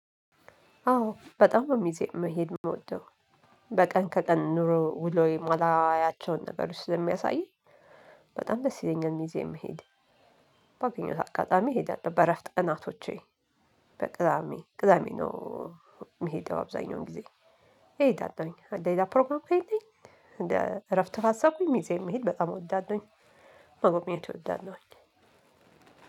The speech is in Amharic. አዎ በጣም ነው ሚዜ መሄድ ምውደው በቀን ከቀን ኑሮ ውሎዬ የማላያቸውን ነገሮች ስለሚያሳየኝ በጣም ደስ ይለኛል። ሚዜ መሄድ ባገኘሁት አጋጣሚ እሄዳለሁ። በእረፍት ቅናቶቼ በቅዳሜ ቅዳሜ ነው። ምሄደው አብዛኛውን ጊዜ እሄዳለሁኝ ሌላ ፕሮግራም ከሌለኝ እንደ እረፍት ካሰብኩኝ ሚዜ መሄድ በጣም እወዳለሁኝ። መጎብኘት እወዳለሁኝ።